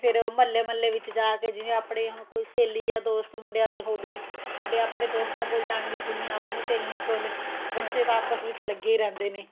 ਫੇਰ ਉਹ ਮਹੱਲੇ ਮਹੱਲੇ ਵਿੱਚ ਜਾਕੇ ਜਿਵੇਂ ਆਪਣੇ ਹੁਣ ਕੋਈ ਸਹੇਲੀ ਜਾਂ ਦੋਸਤ ਮੁੰਡਿਆਂ ਦੇ ਹੋ ਗਏ ਮੁੰਡੇ ਆਪਣੇ ਦੋਸਤਾਂ ਕੋਲ ਜਾਣਗੇ ਕੁੜੀ ਆਪਣੀ ਸਹੇਲੀ ਕੋਲ ਬੱਚੇ ਆਪਸ ਵਿੱਚ ਲੱਗੇ ਹੀ ਰਹਿੰਦੇ ਨੇ